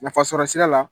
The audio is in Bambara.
Nafasɔrɔ sira la